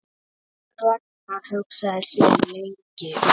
Ragnar hugsaði sig lengi um.